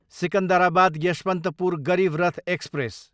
Secunderabad, Yesvantpur Garib Rath express